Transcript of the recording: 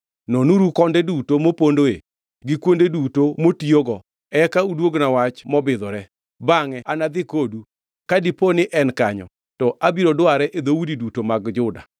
Nonuru konde duto mopondoe gi kuonde duto motiyogo, eka uduogna wach mobidhore. Bangʼe anadhi kodu; ka dipo ni en kanyo, to abiro dware e dhoudi duto mag Juda.”